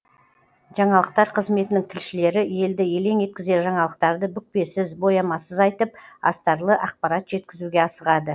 жаңалықтар қызметінің тілшілері елді елең еткізер жаңалықтарды бүкпесіз боямасыз айтып астарлы ақпарат жеткізуге асығады